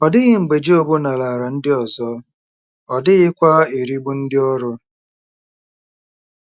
Ọ dịghị mgbe Job nara ala ndị ọzọ, ọ dịghịkwa erigbu ndị ọrụ.